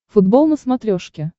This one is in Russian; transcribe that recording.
футбол на смотрешке